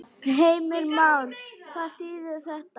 Heimir Már: Hvað þýðir þetta?